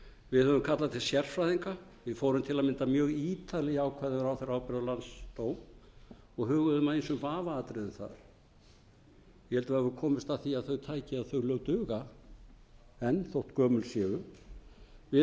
við höfum kallað til sérfræðinga fórum til að mynda mjög ítarlega í ákvæði um ráðherraábyrgð og landsdóm og huguðum að ýmsum vafaatriðum þar ég held við höfum komist að því að þau tæki eða þau lög duga enn þótt gömul séu við